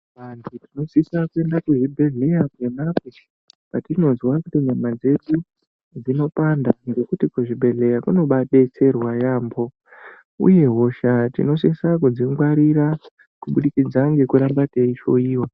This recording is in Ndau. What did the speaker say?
Vantu tinosisa kuenda kuzvibhedhleya ponapo patinozwa kuti nyama dzedu dzinopanda ngokuti kuzvibhedhleya kunobaadetserwa yaamho. Uye hosha tinosisa kudzingwarira kubudikidza ngekuramba teihloyiwa.